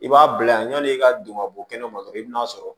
I b'a bila yanni i ka don ka bɔ kɛnɛma dɔrɔn i bɛna'a sɔrɔ